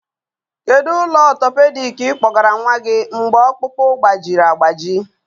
Kedu ụlọ ọgwụ orthopedic ị kpọgara nwa gị mgbe ọkpụkpụ gbajiri agbaji?